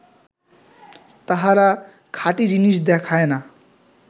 তাহারা খাঁটী জিনিস দেখায় না